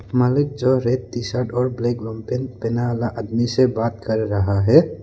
मालिक जो red T shirt और ब्लैक पैंट पहना वाला आदमी से बात कर रहा है।